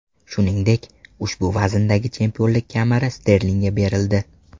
Shuningdek, ushbu vazndagi chempionlik kamari Sterlingga berildi.